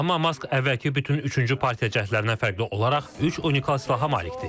Amma Mask əvvəlki bütün üçüncü partiya cəhdlərindən fərqli olaraq üç unikal silaha malikdir.